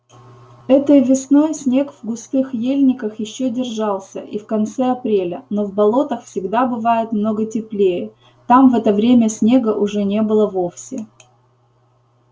этой весной снег в густых ельниках ещё держался и в конце апреля но в болотах всегда бывает много теплее там в это время снега уже не было вовсе